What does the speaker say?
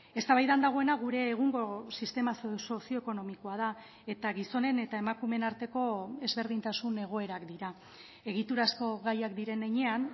eztabaidan dagoena gure egungo sistema sozio ekonomikoa da eta gizonen eta emakumeen arteko ezberdintasun egoerak dira egiturazko gaiak diren heinean